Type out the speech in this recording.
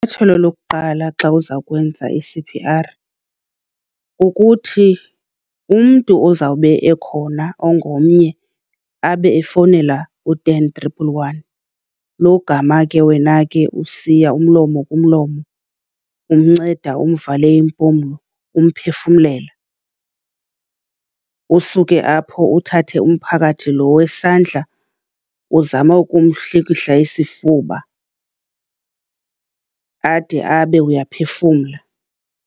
lokuqala xa uzakwenza i-C_P_R kukuthi umntu ozawube ekhona ongomnye abe efowunela u-ten triple one logama ke wena ke usiya umlomo kumlomo, umnceda umvale iimpumlo, umphefumlela. Usuke apho uthathe umphakathi lo wesandla uzame ukumhlikihla isifuba, ade abe uyaphefumla.